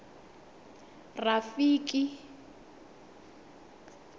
rafiki